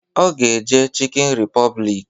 Ọ ga-eje chịkịn repọblik